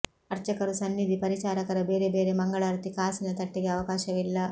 ಅರ್ಚಕರು ಸನ್ನಿಧಿ ಪರಿಚಾರಕರ ಬೇರೆ ಬೇರೆ ಮಂಗಳಾರತಿ ಕಾಸಿನ ತಟ್ಟೆಗೆ ಅವಕಾಶವಿಲ್ಲ